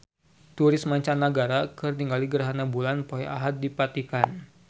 Turis mancanagara keur ningali gerhana bulan poe Ahad di Vatikan